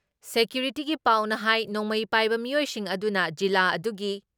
ꯁꯦꯀ꯭ꯌꯨꯔꯤꯇꯤꯒꯤ ꯄꯥꯎꯅ ꯍꯥꯏ ꯅꯣꯡꯃꯩ ꯄꯥꯏꯕ ꯃꯤꯑꯣꯏꯁꯤꯡ ꯑꯗꯨꯅ ꯖꯤꯂꯥ ꯑꯗꯨꯒꯤ